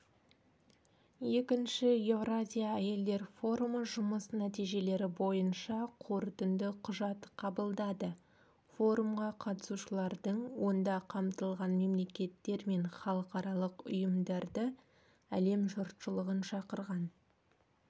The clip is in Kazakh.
екінші еуразия әйелдер форумы жұмыс нәтижелері бойынша қорытынды құжат қабылдады форумға қатысушылардың онда қамтылған мемлекеттер мен халықаралық ұйымдарды әлем жұртшылығын шақырған